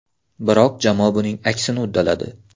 Biroq jamoa buning aksini uddaladi.